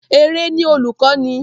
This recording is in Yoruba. Eré ni olùkọ́ni